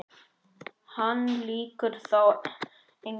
Hann lýgur þá engu.